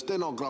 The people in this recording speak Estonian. Aitäh!